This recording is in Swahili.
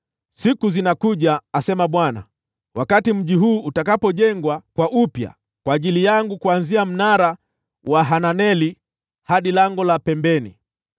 “Siku zinakuja,” asema Bwana , “wakati mji huu utajengwa upya kwa ajili yangu, kuanzia mnara wa Hananeli hadi Lango la Pembeni.